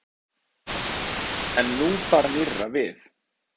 En nú bar nýrra við.